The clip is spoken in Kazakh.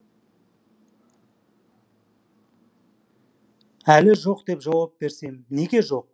әлі жоқ деп жауап берсем неге жоқ